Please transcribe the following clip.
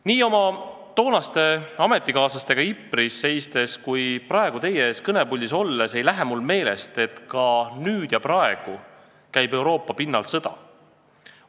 Nii oma toonaste ametikaaslastega Ypres'is seistes kui praegu teie ees kõnepuldis olles pole mul meelest läinud, et ka nüüd ja praegu käib Euroopa pinnal sõda.